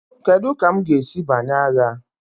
Kedu ka m ga-esi banye agha?